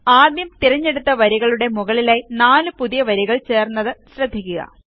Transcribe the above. ആദ്യം തിരഞ്ഞെടുത്ത വരികളുടെ മുകളിലായി 4 പുതിയ വരികൾ ചേർന്നത് ശ്രദ്ധിക്കുക